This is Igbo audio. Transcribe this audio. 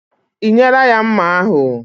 Ị nyela ya mma ahụ?